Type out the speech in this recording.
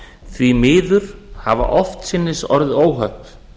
því miður hafa oftsinnis orðið óhöpp